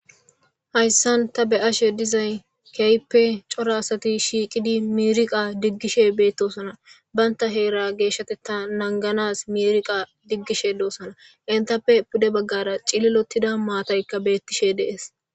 Hayssan ta be7ashe dizay keyppe cora asati shiiqidi miriqa diggishe beettosana banta heera geeshshateta nanganas miriqa diggishe doosana intappe pude baggara cililotida maataykka beettishe deees.